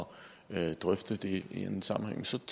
de henvendelser